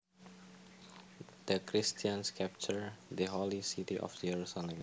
The Christians captured the holy city of Jerusalem